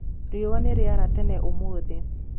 Riũa nĩrĩara tene ũmũthĩ